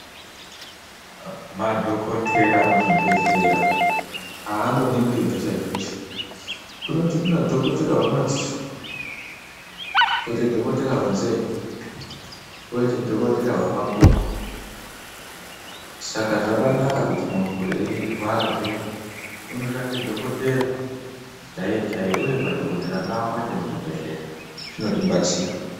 Madhokoteya muzvibhedhlera angoningiri zveshe zveshe kunoti kunadhokoteya wemadziso kwoite dhokotera wenzeve kwoite dhokoteya wemakumbo saka muntu eirwara unofana kutsvaka dhokoteya chaiye chaiye uye madhokotera ngaawande zvinotibatsira.